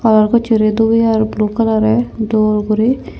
kalar gossey dupey ar blue kalarey dol guri.